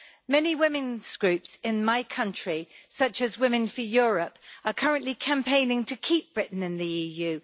Many women's groups in my country, such as Women for Europe, are currently campaigning to keep Britain in the EU.